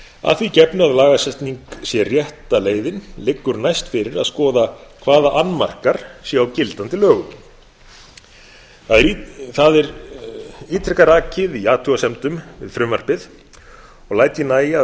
að því gefnu að lagasetning sé rétta leiðin liggur næst fyrir að skoða hvaða annmarkar séu á gildandi lögum það er ítrekað rakið í athugasemdum við frumvarpið og læt ég nægja að